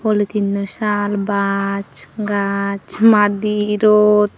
polytin oi saal bach gach maadi rod.